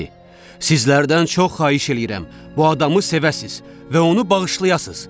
Sizlərdən çox xahiş eləyirəm, bu adamı sevəsiz və onu bağışlayasız.